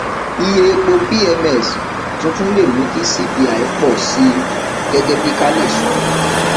iye epo pms tuntun lè mú kí cpi pọ síi gẹgẹ bí kale sọ